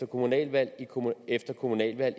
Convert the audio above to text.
kommunalvalg efter kommunalvalg